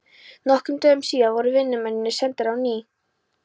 Nokkrum dögum síðar voru vinnumennirnir sendir á ný að